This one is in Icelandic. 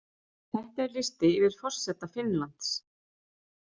Þetta er listi yfir forseta Finnlands.